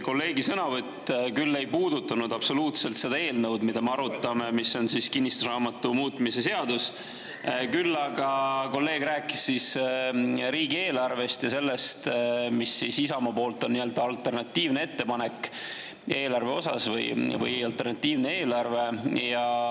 Kolleegi sõnavõtt küll ei puudutanud absoluutselt seda eelnõu, mida me arutame, kinnistusraamatu muutmise seadust, küll aga kolleeg rääkis riigieelarvest ja sellest, mis on Isamaa nii-öelda alternatiivne ettepanek eelarve osas või alternatiivne eelarve.